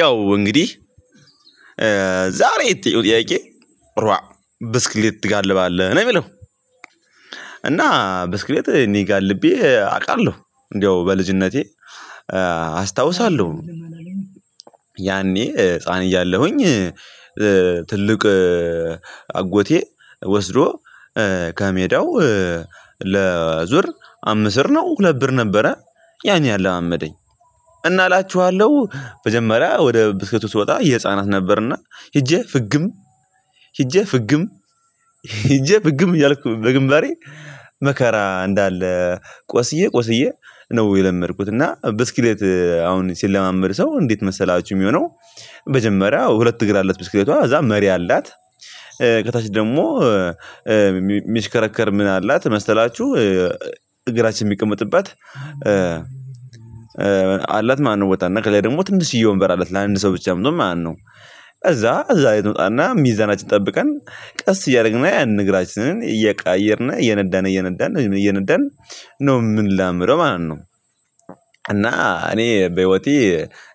ያው እንግዲህ ዛሬ የተጠየቀው ጥያቄ ኧሩዋ ብስክሌት ትጋልባለህ ነው የሚለው? እና ብስክሌት እኔ ጋር ጋልቤ አውቃለሁ። እንደው በልጅነቴ አስታውሳለሁ። ያኔ ህፃን እያለሁኝ ትልቅ አጎቴ ወስዶ ከሜዳው ለዙር አምት ብር ነው፣ ሁለት ብር ነበረ ያን ያለላመደኝ። እና እላችኋለሁ መጀመሪያ ወደ ብስክህቱ ስወጣ የህፃናት ነበርና ሄጄ ፍግም፣ ሄጄ ፍግም ሄጄ ፍግም እያልኩ በግንባሬ መከራ እንዳለ፣ ቆስዬ፣ ቆስዬ ነው የለመድኩት እና ብስክሌት አሁን ሲለማመድ ሰው እንዴት መሰላችሁ የሚሆነው መጀመሪያ ሁለት እግር አለት ብስክሌቷ፣ ከዛ መሪ አላት ከታች ደግሞ ሚሽከረከር ምን አላት መስተላችሁ? እግራችን የሚቀመጥባት አላት ማለት ነው ቦታ እና ከላይ ደግሞ ትንሽዬ ወንበር አላት ለአንድ ሰው ብቻ ምትሆን ማለት ነው። ከዛ እዛ ላይ ትወጣና ሚዛናችን ጠብቀን ቀስ እያደረግን ያንን እግራችንን እየቀየርን እየነዳን፣ እየነዳን፣ ዝም ብለን እየነዳን ነው የምንለምረው ማለት ነው። እና እኔ በህይወቴ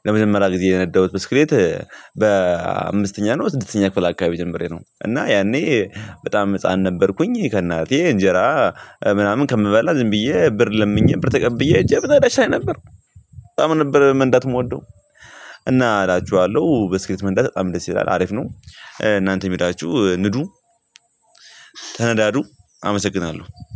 ለመጀመሪያ ጊዜ የነዳሁት ብስክሌት በአምስተኛ ነው ስድስተኛ ክፍል አካባቢ ጀምሬ ነው። እና ያኔ በጣም ህፃን ነበርኩኝ። ከእናቴ እንጀራ ምናምን ከምበላ ዝም ብዬ ብር ለምኜ ብር ተቀብዬ እጄ ብላሻዬ ነበር በጣም ነበር ምን እንዳትሞደው። እና አላችኋለሁ በስኬት መንደር በጣም ደስ ይላል አሪፍ ነው። እናንተም የሄዳችሁ ንዱ ተነዳዱ፣ አመሰግናለሁ።